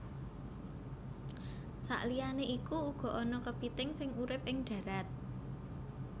Saliyané iku uga ana kepithing sing urip ing dharat